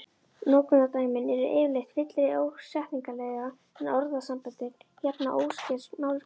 Notkunardæmin eru yfirleitt fyllri setningarlega en orðasamböndin, jafnan óskert málsgrein